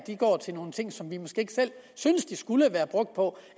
går til nogle ting som vi måske ikke selv synes de skulle være brugt på